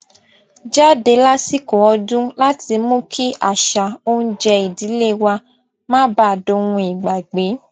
jáde lásìkò ọdún láti mú kí àṣà oúnjẹ ìdílé wa má baà dohun ìgbàgbé